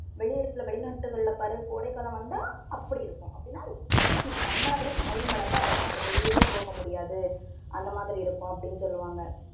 வெளியிடத்துல வெளிநாட்டுகள்ல பாரு கோடைக்காலம் வந்தா அப்படி இருக்கும். அப்படின்னா ரொம்ப heat நம்மளை விட high மடங்கா இருக்கும். அங்க வெளியவே போக முடியாது அந்த மாதிரி இருக்கும் அப்படின்னு சொல்லுவாங்க.